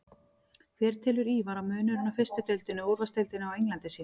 Hver telur Ívar að munurinn á fyrstu deildinni og úrvalsdeildinni á Englandi sé?